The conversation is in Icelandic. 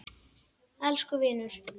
Elsku vinur.